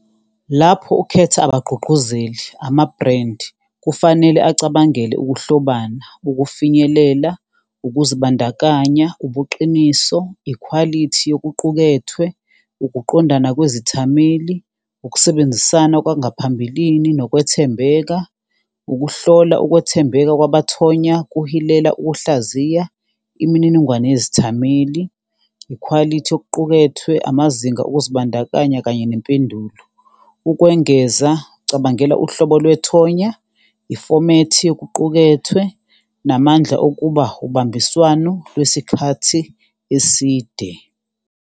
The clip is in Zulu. Lapho ukhetha abagqugquzeli, amabhrendi kufanele acabangele ukuhlobana, ukufinyelela, ukuzibandakanya, ubuqiniso, ikhwalithi yokuqukethwe, ukuqondana kwezithameli, ukusebenzisana kwangaphambilini, nokwethembeka, ukuhlola ukwethembeka kwabo bathonywa kuhilela ukuhlaziya imininingwane yezithameli, ikhwalithi yokuqukethwe, amazinga okuzibandakanya, kanye nempendulo. Ukwengeza, cabangela uhlobo kwethonya, ifomethi yokuqukethwe, namandla okuba ubambiswano lwesikhathi eside.